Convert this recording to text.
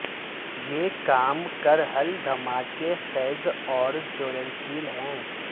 یہ کام کر حل دھماکہ خیز اور جولنشیل ہے